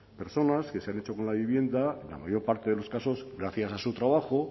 personas que se han hecho con la vivienda en la mayor parte de los casos gracias a su trabajo